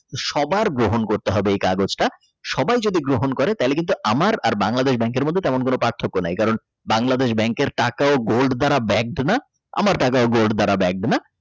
সবার গ্রহণ করতে হবে এ কাগজটা সবাই যদি গ্রহণ করে তাহলে আমার আবার বাংলাদেশ ব্যাংকের কোন পার্থক্য নাই কারণ Bangladesh Bank কের টাকা ও gold দাঁড়া ব্যাগ কেন আমার gold দ্বারা ব্যাগ কেনা।